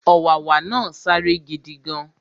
Ọ̀wàwà náà sáré gidigan